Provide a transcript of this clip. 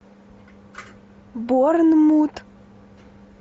борнмут